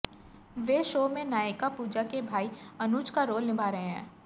वे show में नायिका पूजा के भाई अनुज का रोल निभा रहे हैं